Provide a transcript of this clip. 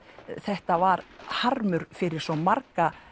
þetta var harmur fyrir svo marga